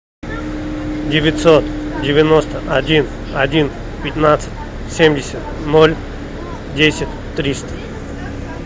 девятьсот девяносто один один пятнадцать семьдесят ноль десять триста